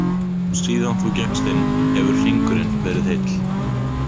Síðan þú gekkst inn, hefur hringurinn verið heill.